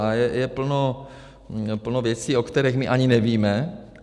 A je plno věcí, o kterých my ani nevíme.